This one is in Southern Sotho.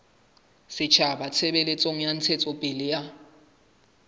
setjhaba tshebetsong ya ntshetsopele ya